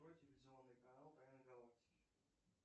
открой телевизионный канал тайны галактики